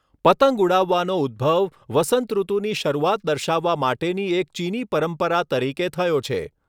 પતંગ ઉડાવવાનો ઉદ્દભવ વસંતઋતુની શરૂઆત દર્શાવવા માટેની એક ચીની પરંપરા તરીકે થયો છે.